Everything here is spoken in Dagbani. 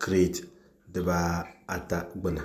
kirɛt dibaata gbuni